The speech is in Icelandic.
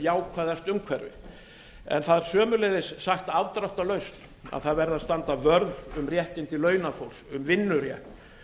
jákvæðast umhverfi en það er sömuleiðis sagt afdráttarlaust að það verði að standa vörð um réttindi launafólks um vinnurétt